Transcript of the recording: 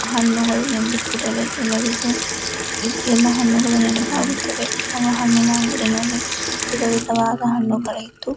ಹಣ್ಣುಗಳು ಎಂದು ಕೂಡಲೇ ಎಲ್ಲರಿಗೂ ಎಲ್ಲ ಹಣ್ಣುಗಳು ನೆನಪಾಗುತ್ತದೆ ಯಾವ ಹಣ್ಣಿನ ಅಂಗಡಿಯಲ್ಲಿ ವಿಧ ವಿಧವಾದ ಹಣ್ಣುಗಳು ಇದ್ದು --